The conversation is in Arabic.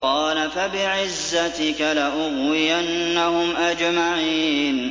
قَالَ فَبِعِزَّتِكَ لَأُغْوِيَنَّهُمْ أَجْمَعِينَ